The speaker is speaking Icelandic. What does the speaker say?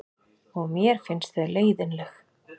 Og mér finnst þau leiðinleg.